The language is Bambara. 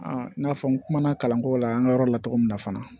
i n'a fɔ n kumana kalanko la an ka yɔrɔ la cogo min na fana